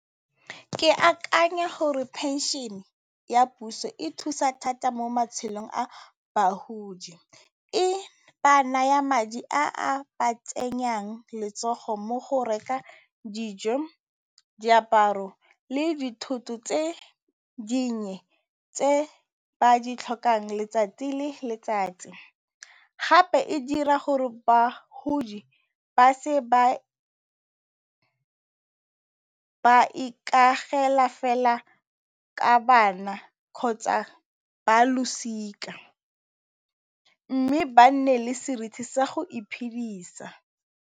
Ke akanya gore phenšene ya puso e thusa thata mo matshelong a bagodi e ba naya madi a a ba tsenyang letsogo mo go rekeng dijo, diaparo le dithoto tse dinnye tse ba ditlhokang letsatsi le letsatsi. Gape e dira gore bagodi ba se ke ba ikaega fela ka bana kgotsa ba losika, mme ba nne le seriti sa go iphidisa.